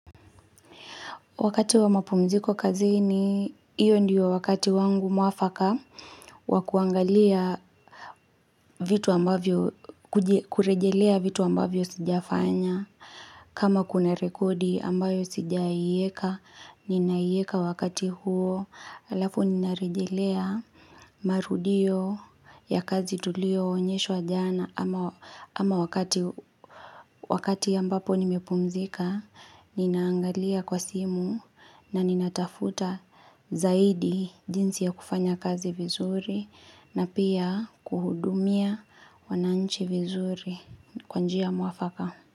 Wakati wa mapumziko kazini, hiyo ndiyo wakati wangu mwafaka wa kuangalia vitu ambavyo, kurejelea vitu ambavyo sijafanya. Kama kuna rekodi ambayo sijaieka, ninaieka wakati huo, alafu nina rejelea marudio ya kazi tulioonyeshwa jana, ama Ama wakati ambapo nimepumzika, ninaangalia kwa simu, na ninatafuta zaidi jinsi ya kufanya kazi vizuri na pia kuhudumia wananchi vizuri kwa njia mwafaka.